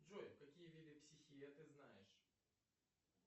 джой какие виды психея ты знаешь